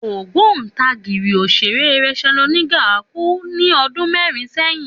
Ògbóǹtarìgì òṣèré Rachael Oniga kú ní ọdún mẹ́rin sẹ́yìn